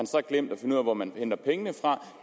så glemt finde ud af hvor man hente pengene og